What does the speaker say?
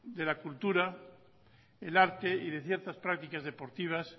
de la cultura el arte y de ciertas prácticas deportivas